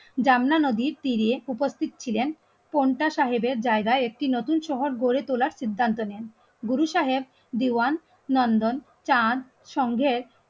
জামনা নদীর তীরে উপস্থিত ছিলেন কোনটা সাহেবের জায়গায় একটি নতুন শহর গড়ে তোলার সিদ্ধান্ত নেন. গুরু সাহেব, দিওয়ান, নন্দন, চাঁদ, সংঘের